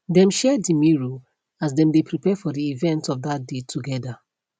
dem share the mirror as dem dae prepare for the events of that day together